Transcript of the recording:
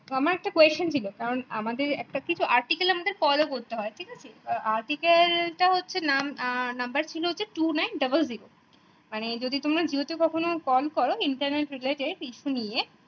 আমার একটা question ছিলো আমাদের একটা কিছু article আমাদের follow করতে হয় article তা হচ্ছে নাম number ছিল two nine double jero মানে তোমার জিও তে কখনো কম করো internet proprietor ইসু নিয়ে